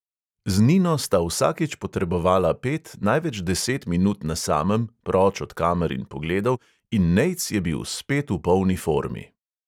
Z nino sta vsakič potrebovala pet, največ deset minut na samem, proč od kamer in pogledov, in nejc je bil spet v polni formi.